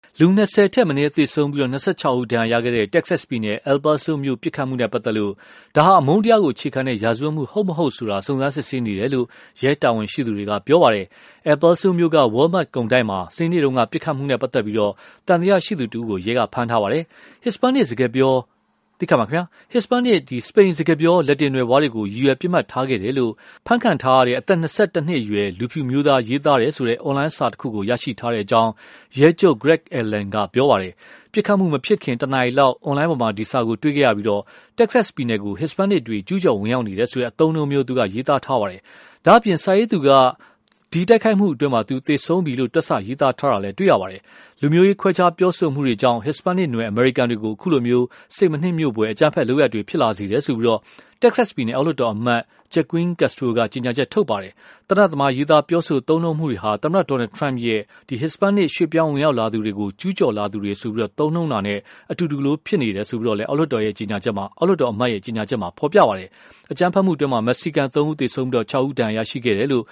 လူ ၂၀ ထက်မနည်းသေဆုံးပြီး ၂၆ ဦး ဒဏ်ရာရခဲ့တဲ့ Texas ပြည်နယ် El Paso မြို့ ပစ်ခတ်မှုနဲ့ပတ်သက်လို့ ဒါဟာ အမုန်းတရားကိုအခြေခံတဲ့ ရာဇဝတ်မှု ဟုတ်မဟုတ်ဆိုတာ စုံစမ်းစစ်ဆေးနေတယ်လို့ ရဲတာဝန်ရှိသူတွေက ပြောပါတယ်။ El Paso မြို့က Walmark ကုန်တိုက်မှာ စနေနေ့တုန်းက ပစ်ခတ်မှုနဲ့ပတ်သက်လို့ သံသယရှိသူ တဦးကို ရဲက ဖမ်းဆီးထားပါတယ်။ ဟစ်စပန်နစ် စပိန်စကားပြော လက်တင်နွယ်ဖွားတွေကို ရည်ရွယ်ပစ်မှတ်ထားခဲ့တယ်လို့ ဖမ်းခံထားရတဲ့ အသက် ၂၁ နှစ်အရွယ် လူဖြူအမျိုးသားရေး ရေးသားတယ်ဆိုတဲ့ အွန်လိုင်းစာတခုကို ရရှိထားတယ်လို့ ရဲချုပ် Greg Allen က ပြောပါတယ်။ ပစ်ခတ်မှုမဖြစ်ခင် တနာရီလောက် အွန်လိုင်းပေါ်မှာ ဒီစာကို တွေ့ခဲ့ရပြီး၊ Texas ပြည်နယ်ကို Hispanic တွေကျူးကျော်ဝင်ရောက်နေတယ်ဆိုတဲ့ အသုံးအနှုန်းမျိုး ရေးသားထားပါတယ်။ ဒါ့အပြင် စာရေးသူက ဒီတိုက်ခိုက်မှုအတွက် သူ သေဆုံးပြီလို့ တွက်ဆ ရေးသားထားပါတယ်။ လူမျိုးရေးခွဲခြားမှု ပြောဆိုချက်တွေကြောင့် Hispanic နွယ် အမေရိကန်တွေကို အခုလို စိတ်မနှစ်မြို့ဖွယ် အကြမ်းဖက် လုပ်ရပ်တွေဖြစ်လာတာလို့ Texas ပြည်နယ် အောက်လွှတ်တော် အမတ် Joaquin Castro က ကြေညာချက်ထုတ်ပါတယ်။ သေနတ်သမား ရေးသားပြောဆိုသုံးနှုန်းတာတွေဟာ သမ္မတ Donald Trump ရဲ့ Hispanic ရွေ့ပြောင်းဝင်ရောက်လာသူတွေကို ကျူးကျော်လာသူတွေဆိုပြီး သုံးနှုန်းတာနဲ့ အတူတူလို ဖြစ်နေတယ်လို့ အောက်လွှတ်တော်အမတ် ကြေညာချက်မှာဖော်ပြပါတယ်။ အကြမ်းဖက်မှုအတွင်းမှာ မက္ကဆီကန်သုံးဦး သေဆုံးပြီး၊ ၆ ဦး ဒဏ်ရာရခဲ့တယ်လို့